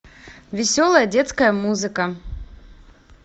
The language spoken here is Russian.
веселая детская музыка